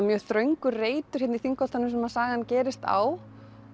mjög þröngur reitur hérna í Þingholtunum sem sagan gerist á